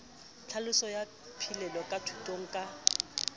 tlhaloso ya phihlello thutong ka